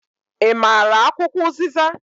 I maara akwụkwọ uziza?